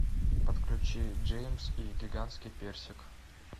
подключи джеймс и гигантский персик